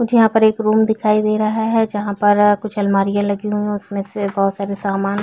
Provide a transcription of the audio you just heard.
मुझे यहाँ पर एक रूम दिखाई दे रहा है जहां पर कुछ अलमारियां लगी हुई है उसमें से बहुत सारे सामान--